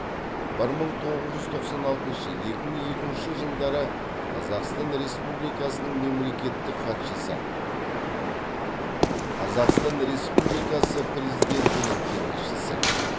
бір мың тоғыз жүз тоқсан алтыншы екі мың екінші жылдары қазақстан республикасының мемлекеттік хатшысы қазақстан республикасы президентінің кеңесшісі